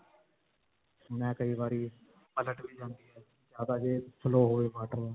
ਮੈਂ ਕਈ ਵਾਰੀ ਪਲਟ ਵੀ ਜਾਂਦੀ ਹੈ ਜਿਆਦਾ ਜੇ flow ਹੋਏ water.